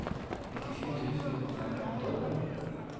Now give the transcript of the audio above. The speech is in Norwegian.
nittisju tusen og fem hundre